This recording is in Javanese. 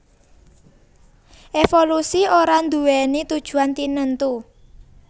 Évolusi ora nduwèni tujuan tinentu